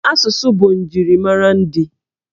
Asụsụ bụ njirimara ndị.